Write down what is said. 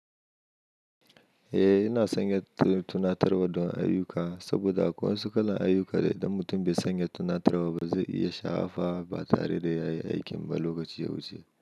Eh, ina sanya tunatarwa don ayuka saboda a wansu kalan ayuka idan mutum bai sanya tunatarwa ba zai iya shafa ba tare da ya yi aikin ba lokacin ya wuce.